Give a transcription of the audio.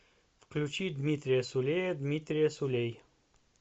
включи дмитрия сулея дмитрия сулей